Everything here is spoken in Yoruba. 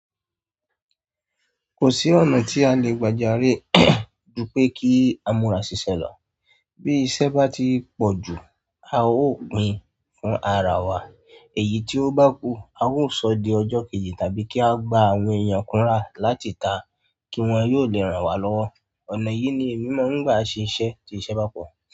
Kò sí ọ̀nà tí a lè gbajare júpẹ́ kí amura ṣiṣẹ́ lọ. Bí iṣẹ́ bá ti pọ̀ jù, a ó pín fún ara wa. Èyí tí o bá kù, a ó sọ di ọjọ́ kejì tàbí kí a gba àwọn èyàn kunra láti ka kí wọ́n yóò lè ranwa lọ́wọ́. Ọ̀nà yìí ni èmi máa ń gbà ṣe iṣẹ́ tí iṣẹ́ bá pọ̀.